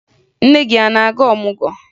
Nne gị a na-aga ọmụgwọ?